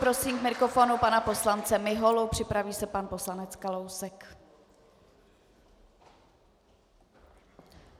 Prosím k mikrofonu pana poslance Miholu, připraví se pan poslanec Kalousek.